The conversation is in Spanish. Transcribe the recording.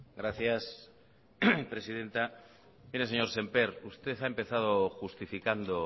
gracias presidenta mire señor semper usted ha empezado justificando